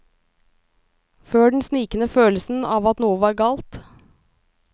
Før den snikende følelsen av at noe var galt.